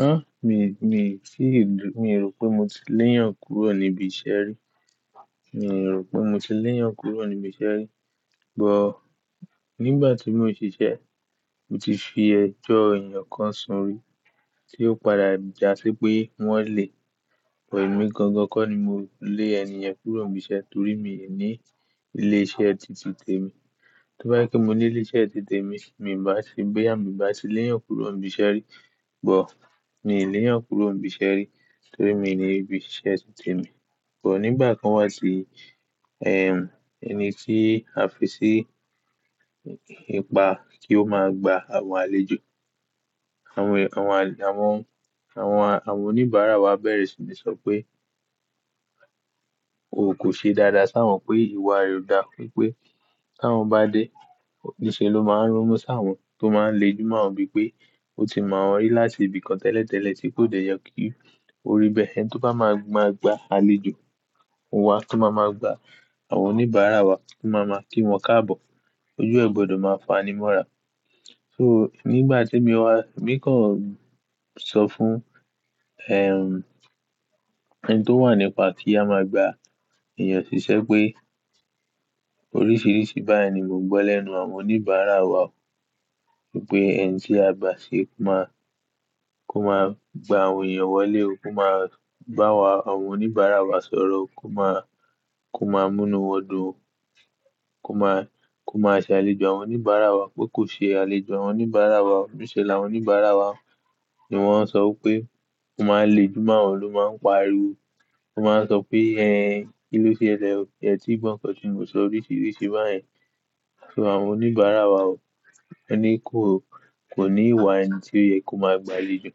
Hah! Mi, mi sì, mi rò pé mo ti léyàn kúrò níbi iṣẹ́ rí. Mi rò pé mo ti léyàn kúrò níbi iṣẹ́ rí. Ò, nígbà tí mò ń ṣiṣẹ́, mo ti fi ẹjọ́ ènìyàn kan sunrí, tí ó padà jásí pé wọ́n lé wẹ̀mí gangan. Kọ́ ni mo lé ènìyàn kúrò níbi iṣẹ́ torí mi ò ní ilé iṣẹ́ tìtì tèmi. To bá jẹ pe mo ní ilé iṣẹ́ tìtì tèmi, mi ò bá ṣe bẹ́yà, mi ò bá ti léyàn kúrò níbi iṣẹ́ rí. Ò, mi léyàn kúrò níbi iṣẹ́ rí torí mi ní ibi ṣíṣe tìtì tèmi. Ò, nígbà kan wá ti, ehm, ẹni tí a fi sí ipa kí ó máa gba àwọn àlejò. Àwọn, àwọn, àwọn, àwọn oníbàárà wa bẹ̀rẹ̀ sí ní sọ pé o kò ṣe dáadáa sáwọn pé ìwà rẹ ò dáa fún un pé sáwọn bá dé, niṣẹ́ lo máa ń ronmú sáwọn tó máa ń le jù mọ́ ọ bíi pé o ti mọ̀ wọ́n rí láti ibìkan tẹ́lẹ̀tẹ́lẹ̀ tí kò dẹ yọ kí o rí bẹ́ẹ̀. Ẹni tí ó bá máa gba àlejò, òun wa kí ó máa máa gba àwọn oníbàárà wa, kí ó máa máa kí wọn káàbọ̀. Ojú ẹ gbọdọ̀ máa fa animọ́ra. So nígbà tí mi wá, mi kàn sọ fún, ehm, ẹni tó wà nípa kí a máa gba èeyàn ṣiṣẹ́ pé oríṣìíríṣìí báyìí ni mò ń gbọ́ lẹ́nu àwọn oníbàárà wa. Wípé ẹni tí a gbà ṣe kó máa, kó máa gba àwọn ènìyàn wọlé ó, kó máa bá wa àwọn oníbàárà wa sọ̀rọ̀ ó, kó máa, kó máa múnu wọn dun ó, kó máa, kó máa ṣàlejò àwọn oníbàárà wa, pé kò ṣe àlejò àwọn oníbàárà wa. Niṣẹ́ làwọn oníbàárà wa ni wọ́n ń sọ pé ó máa ń le jù mọ́ wọn ló máa ń pariwo. Wọ́n máa ń sọ pé "Ẹ̀hen, kí ló ṣe ẹlẹ̀ ó? Ẹ ti gbọ́n kọ́" tí mò ń sọ oríṣìíríṣìí báyìí. So àwọn oníbàárà wa ó ní kó, kò ní ìwà ẹni tí ó yẹ kó máa gba àlejò.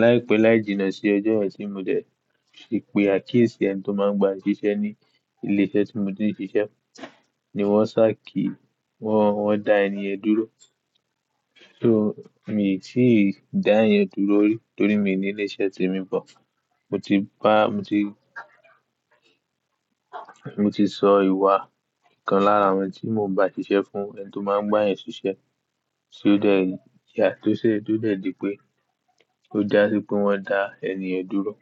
Láìpẹ́ láì jìnnà sí ọjọ́ yen tí mò dẹ̀ ṣe ìpè àkíyèsí ẹni tó máa ń gba ṣiṣẹ́ ní ilé iṣẹ́ tí mò ń ṣíṣẹ́, ni wọ́n sá kí wọ́n, wọ́n dá ẹni ẹ̀ dúró. So mi tií dá ẹeyan dúró rí torí mi ò ní ilé iṣẹ́ tèmi bọ̀. Mo ti bá, mo ti, mo ti sọ ìwà kan lára àwọn tí mò ń bá ṣiṣẹ́ fún ẹni tó máa ń gbáyìn ṣiṣẹ́, tí ó dẹ̀ yà tó ṣe, tó dẹ̀ di pé ó jásí pé wọ́n dá ẹni yẹ̀n dúró.